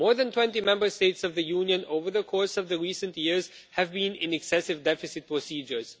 More than 20 Member States of the Union, over the course of the recent years, have been in excessive deficit procedures.